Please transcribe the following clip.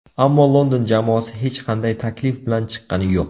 Ammo London jamoasi hech qanday taklif bilan chiqqani yo‘q.